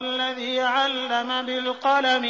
الَّذِي عَلَّمَ بِالْقَلَمِ